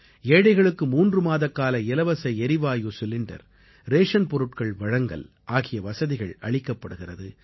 ஏழைகளுக்கு 3 மாதக்கால இலவச எரிவாயு சிலிண்டர் ரேஷன் பொருட்கள் வழங்கல் ஆகிய வசதிகள் அளிக்கப்படுகிறது